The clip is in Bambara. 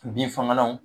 Bin fagalanw